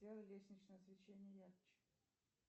сделай лестничное освещение ярче